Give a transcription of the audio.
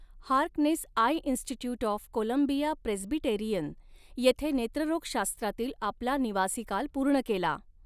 Harkness Eye Institute of Columbia Presbyterian येथे नेत्ररोगशास्त्रातील आपला निवासीकाल पूर्ण केला.